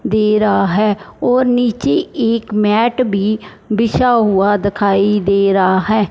दे रहा है और नीचे एक मैट भी बिछा हुआ दखाई दे रहा है।